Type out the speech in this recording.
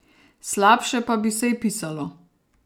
Slabše pa bi se ji pisalo.